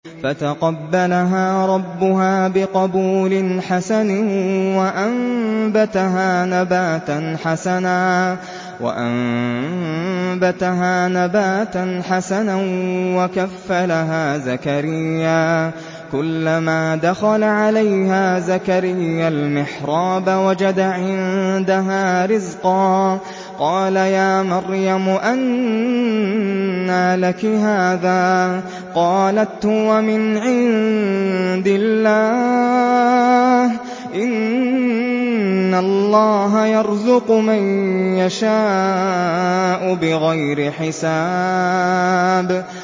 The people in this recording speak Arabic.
فَتَقَبَّلَهَا رَبُّهَا بِقَبُولٍ حَسَنٍ وَأَنبَتَهَا نَبَاتًا حَسَنًا وَكَفَّلَهَا زَكَرِيَّا ۖ كُلَّمَا دَخَلَ عَلَيْهَا زَكَرِيَّا الْمِحْرَابَ وَجَدَ عِندَهَا رِزْقًا ۖ قَالَ يَا مَرْيَمُ أَنَّىٰ لَكِ هَٰذَا ۖ قَالَتْ هُوَ مِنْ عِندِ اللَّهِ ۖ إِنَّ اللَّهَ يَرْزُقُ مَن يَشَاءُ بِغَيْرِ حِسَابٍ